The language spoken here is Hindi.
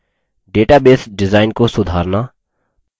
database डिजाइन को सुधारना